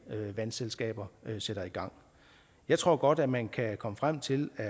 vandselskaber sætter i gang jeg tror godt at man kan komme frem til at